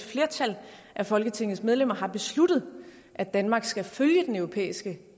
flertal af folketingsmedlemmer har besluttet at danmark skal følge den europæiske